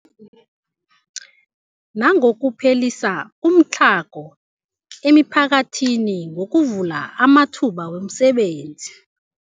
Nangokuphelisa umtlhago emiphakathini ngokuvula amathuba wemisebenzi.